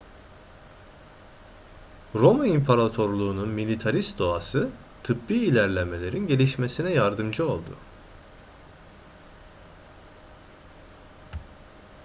roma imparatorluğunun militarist doğası tıbbi ilerlemelerin gelişmesine yardımcı oldu